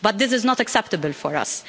But this is not acceptable for us.